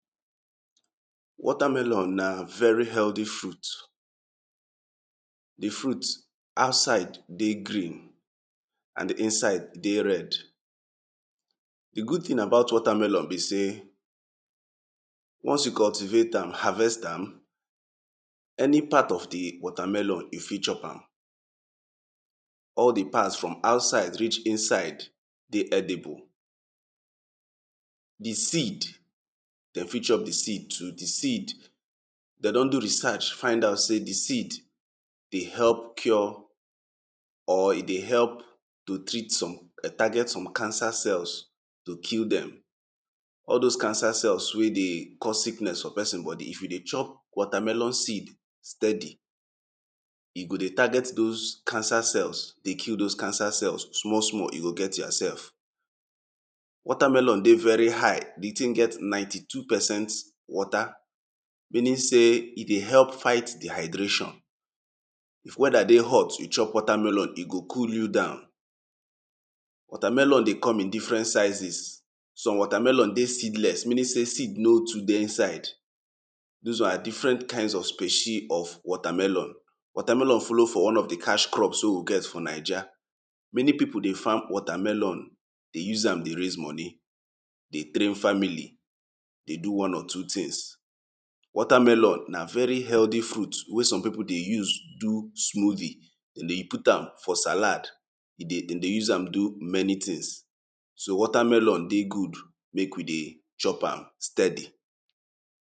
Water melon na very healthy fruit, di fruit outside dey green and di inside dey red. Di good thing thing about water melon be sey, once you cultivate am, harvest am, any part of di water melon, you fit chop am. All di parts from outside reach inside dey edible. Di seed dem fit chop di seed too, di seed, dem don do research find out sey di seed, dey help cure, or e dey help to treat some, target some cancer cells, to kill dem. All those cancer cells wey dey cause sickness for person body, if you dey chop water melon seed steady, e go dey target those cancer cells, dey kill those cancer cells small small you go get yourself. Water melon dey very high, di thing get ninety two percent water, meaning sey e dey help fight dehydration. If weather dey hot, you chop water melon e go cool you down. Water melon dey come in different sizes, some water melon dey seedless meaning sey seed no too dey inside, those are different kind of specie of water melon. Water melon follow for di cash crop wey we get for Naija. Many people dey farm water malon dey use am dey raise money dey train family, dey do one or two things. Water melon na very healthy fruits wey some people dey use do smoothie, dem dey put am for salad, e dey, dem dey use am do many things. So water melon dey good, make we dey chop am steady.